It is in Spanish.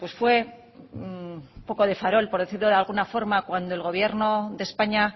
fue un poco de farol por decirlo de alguna forma cuando el gobierno de españa